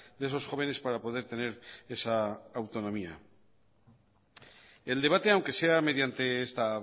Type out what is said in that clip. de esos jóvenes para poder tener esa autonomía el debate aunque sea mediante esta